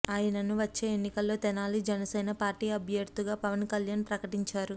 ఆయనను వచ్చే ఎన్నికల్లో తెనాలి జనసేన పార్టీ అభ్యర్థిగా పవన్ కల్యాణ్ ప్రకటించారు